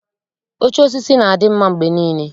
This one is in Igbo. Oche osisi na-adị mma mgbe niile.